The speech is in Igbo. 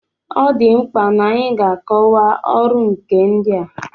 Ọ dị mkpa n'anyị ga-akọwa ọrụ nkà ndị a.